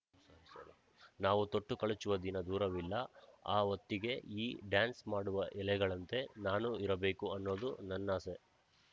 ನಾವು ತೊಟ್ಟು ಕಳುಚುವ ದಿನ ದೂರವಿಲ್ಲ ಆ ಹೊತ್ತಿಗೆ ಈ ಡ್ಯಾನ್ಸ್‌ ಮಾಡುವ ಎಲೆಗಳಂತೇ ನಾನೂ ಇರಬೇಕು ಅನ್ನೋದು ನನ್ನಾಸೆ